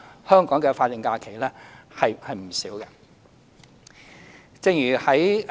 香港的法定假日是不少的。